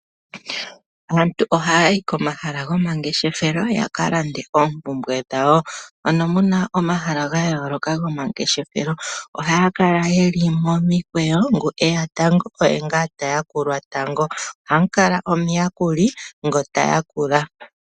Aantu ohaa yi komahala gomangeshefelo ya ka lande oompumbwe dhawo. Ano mu na omahala ga yooloka gomangeshefelo. Ohaa kala ye li momikweyo, ngu e ya tango oye ngaa ta yakulwa tango. Ohamu kala omuyakuli ngoka ta yakula.